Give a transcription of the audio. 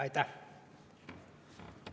Aitäh!